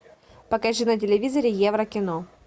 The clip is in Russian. покажи на телевизоре евро кино